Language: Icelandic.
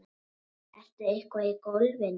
Ertu eitthvað í golfinu?